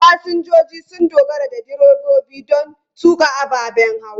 Fasinjoji sun dogara da direbobi don tuƙa ababen hawa.